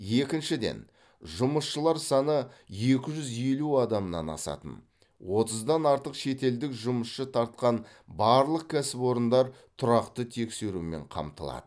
екіншіден жұмысшылар саны екі жүз елу адамнан асатын отыздан артық шетелдік жұмысшы тартқан барлық кәсіпорындар тұрақты тексерумен қамтылады